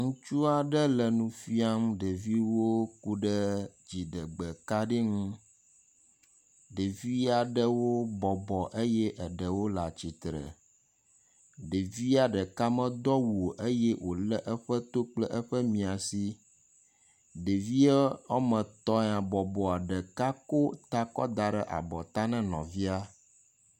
Ŋutsu aɖe le nu fiam ɖeviwo ku ɖe dziɖegbekaɖi ŋu, ɖevi ɖewo bɔbɔ eye eɖewo le atsitre. Ɖevia ɖeka medo awu o eye wòlé eƒe to kple eƒe miasi. Ɖevia woame etɔ̃ ya bɔbɔa, ɖeka ko ta kɔ da ɖe abɔ ta na nɔvia.